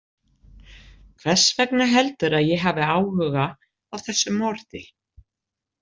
Hvers vegna heldurðu að ég hafi áhuga á þessu morði?